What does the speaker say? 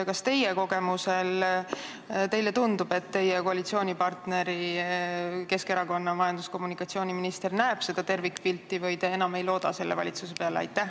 Kas teile oma kogemuse põhjal tundub, et teie koalitsioonipartneri Keskerakonna majandus- ja kommunikatsiooniminister näeb seda tervikpilti, või te enam ei looda selle valitsuse peale?